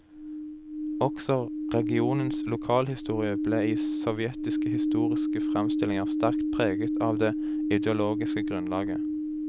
Også regionens lokalhistorie ble i sovjetiske historiske framstillinger sterkt preget av det ideologiske grunnlaget.